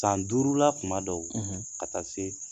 San duurula kuma dɔw ka taa se